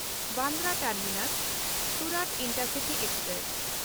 Bandra ᱴᱟᱨᱢᱤᱱᱟᱥ–ᱥᱩᱨᱟᱛ intercity express